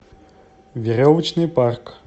веревочный парк